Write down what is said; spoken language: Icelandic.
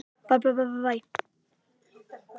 Þetta er náttúrulega glórulaust.